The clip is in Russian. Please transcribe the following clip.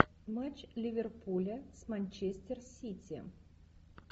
матч ливерпуля с манчестер сити